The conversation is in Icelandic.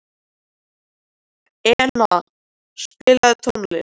Enea, spilaðu tónlist.